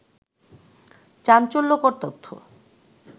চাঞ্চল্যকর তথ্য